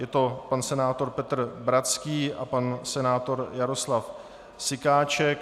Je to pan senátor Petr Bratský a pan senátor Jaroslav Sykáček.